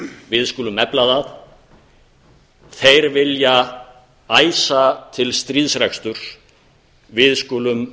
við skulum efla það þeir vilja æsa til stríðsreksturs við skulum